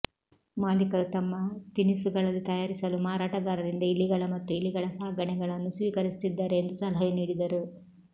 ಮಾಲೀಕರು ತಮ್ಮ ತಿನಿಸುಗಳಲ್ಲಿ ತಯಾರಿಸಲು ಮಾರಾಟಗಾರರಿಂದ ಇಲಿಗಳ ಮತ್ತು ಇಲಿಗಳ ಸಾಗಣೆಗಳನ್ನು ಸ್ವೀಕರಿಸುತ್ತಿದ್ದಾರೆ ಎಂದು ಸಲಹೆ ನೀಡಿದರು